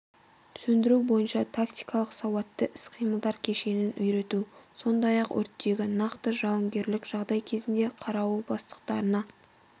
сөндіру бойынша тактикалық сауатты іс-қимылдар кешенін үйрету сондай-ақ өрттегі нақты жауынгерлік жағдай кезінде қарауыл бастықтарына